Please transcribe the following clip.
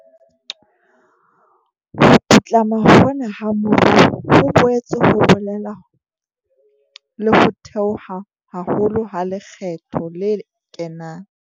Ho putlama hona ha moruo ho boetse ho bolela le ho theoha haholo ha lekgetho le kenang.